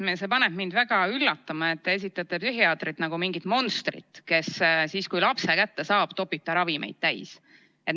Taas kord paneb mind väga üllatama, et te esitate psühhiaatrit nagu mingit monstrit, kes siis, kui lapse kätte saab, topib ta ravimeid täis.